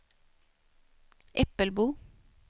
Äppelbo